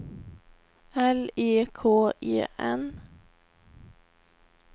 L E K E N